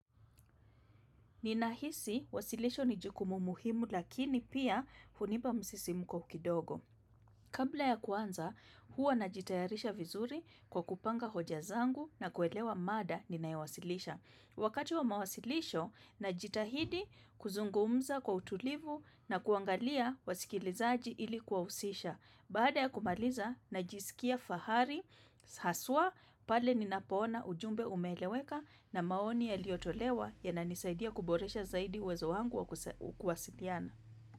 Ninahisi, wasilisho ni jukumu muhimu lakini pia hunipa msisimko kidogo. Kabla ya kuanza, huwa najitayarisha vizuri kwa kupanga hoja zangu na kuelewa mada ninayawasilisha. Wakati wa mawasilisho, najitahidi kuzungumza kwa utulivu na kuangalia wasikilizaji ilikuwahusisha. Baada ya kumaliza, najisikia fahari, haswa, pale ninapoona ujumbe umeeleweka na maoni yaliyotolewa yananisaidia kuboresha zaidi uwezo wangu wa kuwasiliana.